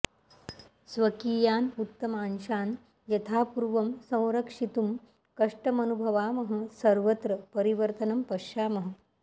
स्वकीयान् उत्तमांशान् यथापूर्वं संरक्षितुं कष्टमनुभवामः सर्वत्र परिवर्तनं पश्यामः